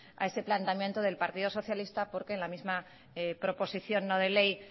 a ese planteamiento del partido socialista porque en la misma proposición no de ley